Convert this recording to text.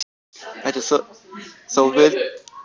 Þetta er þó villandi notkun.